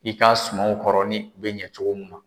I ka sumaw kɔrɔ ni u bɛ ɲɛ cogo min na.